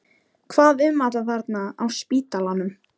Hvað um alla þá þarna á spítalanum?